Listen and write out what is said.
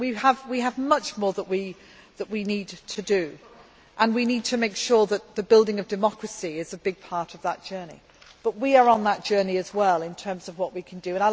We have much more that we need to do, and we need to make sure that the building of democracy is a big part of that journey, but we are on that journey as well in terms of what we can do.